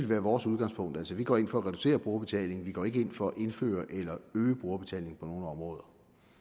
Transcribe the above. være vores udgangspunkt vi går ind for at reducere brugerbetalingen vi går ikke ind for at indføre eller øge brugerbetalingen på nogen områder